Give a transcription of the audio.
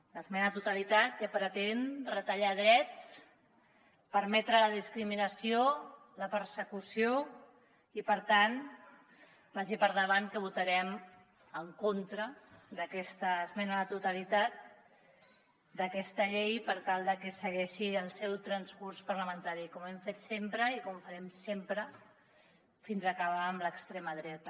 l’esmena a la totalitat que pretén retallar drets permetre la discriminació la persecució i per tant vagi per endavant que votarem en contra d’aquesta esmena a la totalitat d’aquesta llei per tal de que segueixi el seu transcurs parlamentari com hem fet sempre i com ho farem sempre fins acabar amb l’extrema dreta